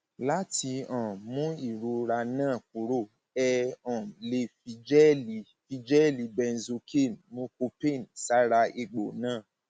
láti um mú ìrora náà kúrò ẹ um lè fi jẹẹlì fi jẹẹlì benzocaine mucopain sára egbò náà